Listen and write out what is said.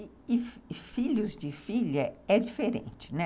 E filhos de filha é diferente, né?